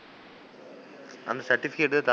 அந்த certificate,